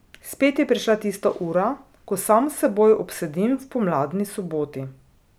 Spet je prišla tista ura, ko sam s teboj obsedim v pomladni soboti.